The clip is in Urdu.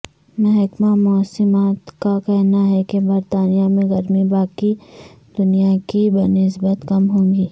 محمکہ موسمیات کا کہنا ہے کہ برطانیہ میں گرمی باقی دنیا کی بنسبت کم ہوگی